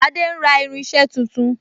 Adé ń ra irinse tuntun